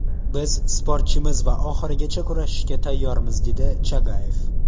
Biz sportchimiz va oxirigacha kurashishga tayyormiz”, dedi Chagayev.